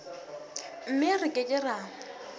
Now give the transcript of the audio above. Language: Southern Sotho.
mme re ke ke ra